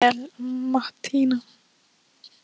Þú stendur þig vel, Mattína!